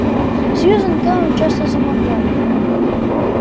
а сьюзен кэлвин часто заморгала